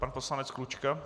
Pan poslanec Klučka.